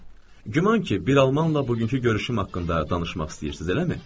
Güman ki, bir almanla bugünkü görüşüm haqqında danışmaq istəyirsiz, eləmi?